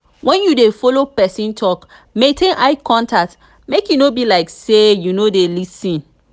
when you dey follow person talk maintain eye contact make e no be like sey you no dey lis ten